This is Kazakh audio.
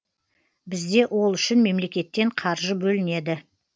бізде ол үшін мемлекеттен қаржы бөлінеді